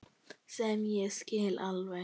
Sem ég skil alveg.